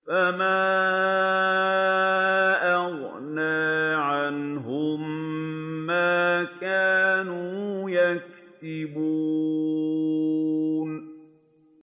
فَمَا أَغْنَىٰ عَنْهُم مَّا كَانُوا يَكْسِبُونَ